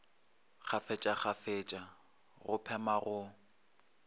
kgafetša kgafetša go phema go